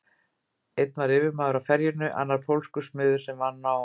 Einn var yfirmaður á ferjunni, annar pólskur smiður sem vann á